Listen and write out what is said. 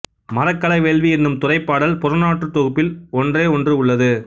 மறக்களவேள்வி என்னும் துறைப் பாடல் புறநானூற்றுத் தொகுப்பில் ஒன்றே ஒன்று உள்ளது